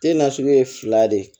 Te na sugu ye fila de ye